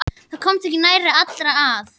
Það komast ekki nærri allir að.